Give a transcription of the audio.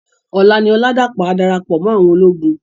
Òlá ni Oladapo á dárápò mò áwòn ólógùn.